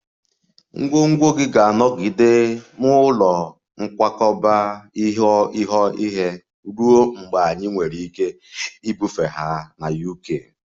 Ngwongwo gị ga-anọgide n'ụlọ nkwakọba ihe ruo mgbe anyị nwere ike ibufe ha na UK